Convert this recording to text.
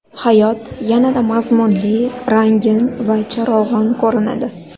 Hayot yanada mazmunli, rangin va charog‘on ko‘rinadi.